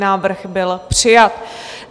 Návrh byl přijat.